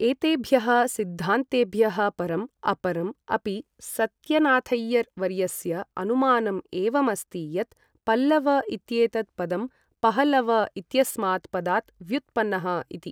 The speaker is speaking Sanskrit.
एतेभ्य़ः सिद्धान्तेभ्यः परम्, अपरम् अपि सत्यनाथैयर् वर्यस्य अनुमानम् एवम् अस्ति यत् पल्लव इत्येतत् पदं पहलव इत्यस्मात् पदात् व्युत्पन्नः इति।